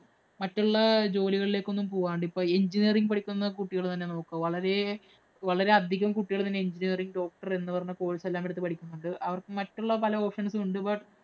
മറ്റൊള്ള ജോലികളിലേക്കൊന്നും പോവാണ്ട് ഇപ്പം engineering പഠിക്കുന്ന കുട്ടികള്‍ തന്നെ നോക്കു. വളരെ വളരെയധികം കുട്ടികള്‍ തന്നെ engineering, doctor എന്ന് പറഞ്ഞ course എല്ലാം എടുത്ത് പഠിക്കുന്നുണ്ട്. അവര്‍ക്ക് മറ്റുള്ള പല options ഉം ഉണ്ട്. But